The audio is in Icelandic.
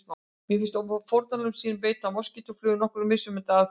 Til að finna fórnarlömb sín beita moskítóflugur nokkrum mismunandi aðferðum.